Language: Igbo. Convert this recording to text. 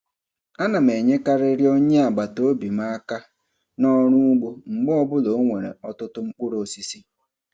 Ana m enyekarịrị onye agbataobi m aka n'ọrụ ụgbọ mgbe ọbụla o nwere ọtụtụ mkpụrụ osisi.